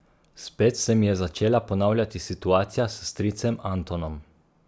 Spet se mi je začela ponavljati situacija s stricem Antonom.